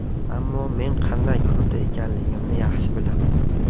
Ammo men qanday klubda ekanligimni yaxshi bilaman.